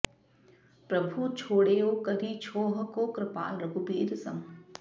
प्रभु छाड़ेउ करि छोह को कृपाल रघुबीर सम